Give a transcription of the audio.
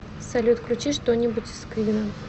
салют включи что нибудь из квинна